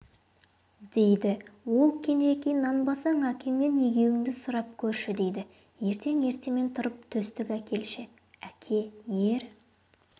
дейді ол кенжекей нанбасаң әкеңнен егеуіңді сұрап көрші дейді ертең ертемен тұрып төстік әкелші әке ер